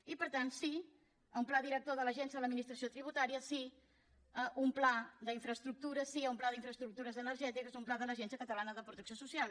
i per tant sí a un pla director de l’agència de l’administració tributària sí a un pla d’infraestructures sí a un pla d’infraestructures energètiques un pla de l’agència catalana de protecció social